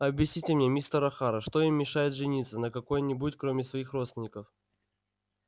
объясните мне мистер охара что им мешает жениться на какой-нибудь кроме своих родственников